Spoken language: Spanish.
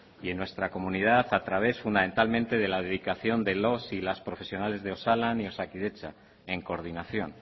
y en nuestra comunidad a través fundamentalmente de la dedicación de los y las profesionales de osalan y osakidetza en coordinación